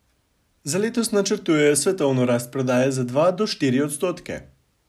Za letos načrtujejo svetovno rast prodaje za dva do štiri odstotke.